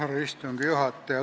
Härra istungi juhataja!